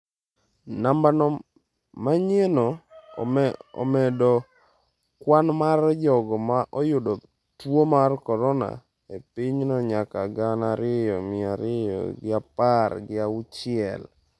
Nambano manyienno omedo kwan mar jogo ma oyudo tuo mar korona e pinyno nyaka gana ariyo mia ariyo gi apar gi auchiel.